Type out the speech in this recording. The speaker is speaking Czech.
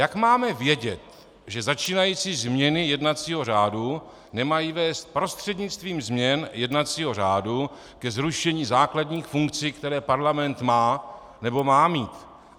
Jak máme vědět, že začínající změny jednacího řádu nemají vést prostřednictvím změn jednacího řádu ke zrušení základních funkcí, které parlament má, nebo má mít?